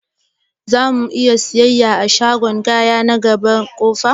Zamu'iya siyayya a shagon kaya na gaba da ƙofa?